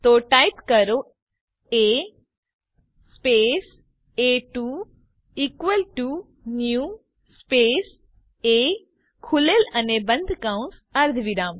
તો ટાઇપ કરો A space એ2 equal to new space A ખૂલેલ અને બંધ કૌસ અર્ધવિરામ